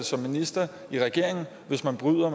som minister i regeringen hvis man bryder